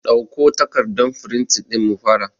Ɗauko takardan firintin ɗin mu fara